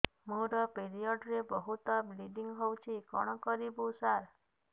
ମୋର ପିରିଅଡ଼ ରେ ବହୁତ ବ୍ଲିଡ଼ିଙ୍ଗ ହଉଚି କଣ କରିବୁ ସାର